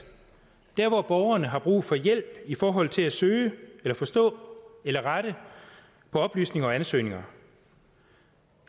der hvor borgerne har brug for hjælp i forhold til at søge forstå eller rette på oplysninger og ansøgninger